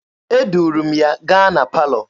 Eduru m ya gaa na palọ.